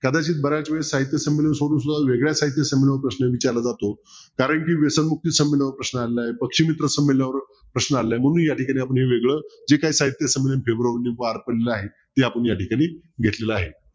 कदाचित बऱ्याच वेळेस साहित्य संमेलन सोडून सुद्धा वेगळ्या साहित्य संमेलनावर प्रश्न विचारला जातो कारंकी व्यसनमुक्ती संमेलनावर प्रश्न आलेला आहे पक्षमित्र संमेलनावर प्रश्न आलेला आहे म्हणून या ठिकाणी आपण हे वेगळं जे काही साहित्य संमेलन फेब्रुवारीमध्ये पार पडलं आहे ते आपण या ठिकाणी घेतले आहे